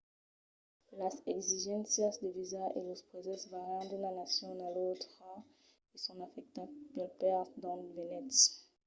las exigéncias de visa e los prèses vàrian d’una nacion a l’autra e son afectats pel país d’ont venètz